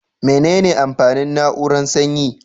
Mene ne amfanin na'urar sanyi?